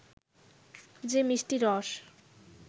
যে মিষ্টি রস